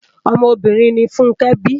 Òmò óbìrín ni Funke bi